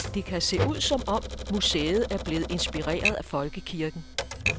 Det kan se ud som om, museet er blevet inspireret af folkekirken.